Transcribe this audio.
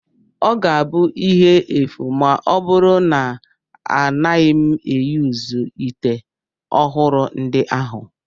Ọ ga-abụ ihe efu ma ọ bụrụ na anaghị m eyuzu ite ọhụrụ ndị ahụ